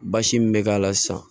Basi min bɛ k'a la sisan